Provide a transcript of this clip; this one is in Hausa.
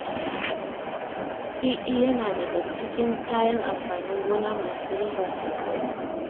Riɗi yana daga cikin kayan amfanin gona masu riba sosai